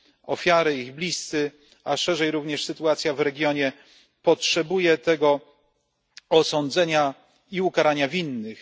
Ofiary, ich bliscy, a ogólnie również sytuacja w regionie potrzebują tego osądzenia i ukarania winnych.